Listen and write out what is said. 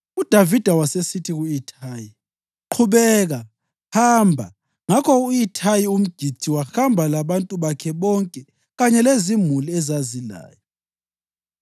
UDavida wasesithi ku-Ithayi, “Qhubeka, hamba.” Ngakho u-Ithayi umGithi wahamba labantu bakhe bonke kanye lezimuli ezazilaye.